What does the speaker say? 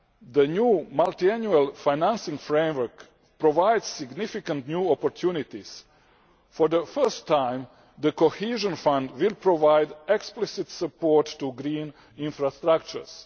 The new multiannual financing framework provides significant new opportunities for the first time, the Cohesion Fund will provide explicit support to green infrastructures.